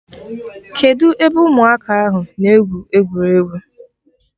Kedụ ebe ụmụaka ahụ na-egwu egwuregwu?